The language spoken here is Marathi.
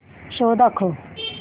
शो दाखव